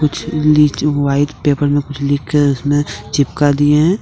White paper में कुछ लिख कर उसमें चिपका दिए हैं।